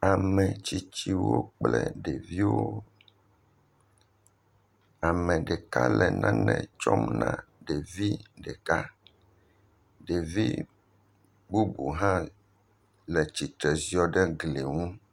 Ametsiotsiwo kple ɖeviwo, ame ɖeka le nane tsɔm na ɖevi ɖeka, ɖevi bubu hã le tsitre ziɔ ɖe gli ŋu.